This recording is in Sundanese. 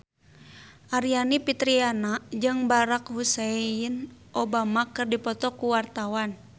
Aryani Fitriana jeung Barack Hussein Obama keur dipoto ku wartawan